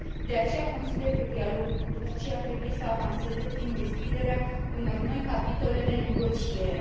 De aceea, consider că dialogul cu Turcia trebuie să avanseze prin deschiderea unor noi capitole de negociere.